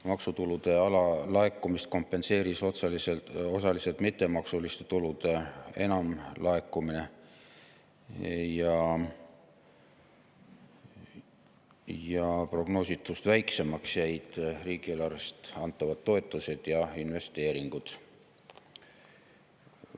Maksutulude alalaekumist kompenseeris osaliselt mittemaksuliste tulude enamlaekumine ja prognoositust väiksemaks jäid riigieelarvest antavad toetused ja investeeringud.